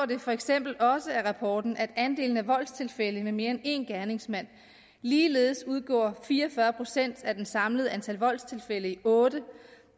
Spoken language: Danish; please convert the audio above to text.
det for eksempel også af rapporten at andelen af voldstilfælde med mere end én gerningsmand ligeledes udgjorde fire og fyrre procent af det samlede antal voldstilfælde i otte